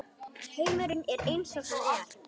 Heimurinn er eins og hann er.